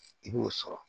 I b'o sɔrɔ